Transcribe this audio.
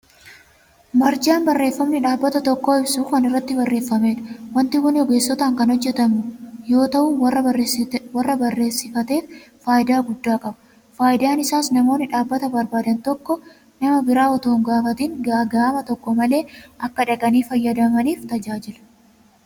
Barjaan barreeffamni dhaabbata tokko ibsu kan irratti barreeffamudha. Waanti kun ogeessotaan kan hojjetamu yoo ta'u warra barreessifateef faayidaa guddaa qaba. Faayidaan isaas namoonni dhaabbata barbaadan tokko nama biraa utuu hin gaafatin gaaga'ama tokko malee akka dhaqanii fayyadamaniif tajaajila.